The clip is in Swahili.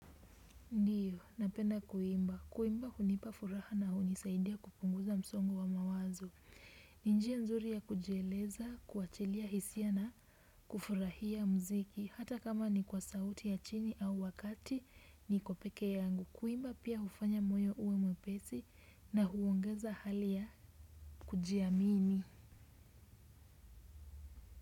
Ndio, napenda kuimba. Kuimba hunipa furaha na hunisaidia kupunguza msongo wa mawazo. Ni njia nzuri ya kujieleza, kuachilia hisia na kufurahia muziki. Hata kama ni kwa sauti ya chini au wa kati, niko peke yangu. Kuimba pia hufanya moyo uwe mwepesi na huongeza hali ya kujiamini.